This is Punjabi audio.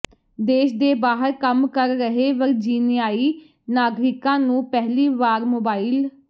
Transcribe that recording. ਦੇਸ਼ ਦੇ ਬਾਹਰ ਕੰਮ ਕਰ ਰਹੇ ਵਰਜੀਨਿਆਈ ਨਾਗਰਿਕਾਂ ਨੂੰ ਪਹਿਲੀ ਵਾਰ ਮੋਬਾਈਲ